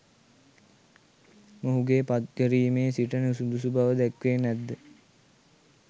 මොහුගේ පත්කිරිමේ සිට නුසුදුසු බව දැක්කේ නැත්ද?